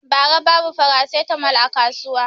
Ba ra babu farasitamol a kasuwa